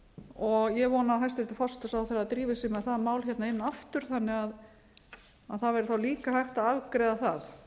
og ég vona að forsætisráðherra drífi sig inn með það mál aftur þannig að það væri þá líka hægt að afgreiða það